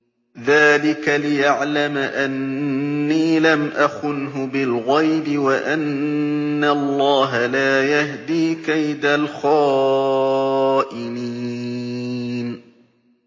ذَٰلِكَ لِيَعْلَمَ أَنِّي لَمْ أَخُنْهُ بِالْغَيْبِ وَأَنَّ اللَّهَ لَا يَهْدِي كَيْدَ الْخَائِنِينَ